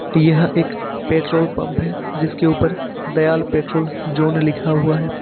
यह एक petrol pump जिसके ऊपर दयाल पेट्रोल जोन लिखा हुआ है।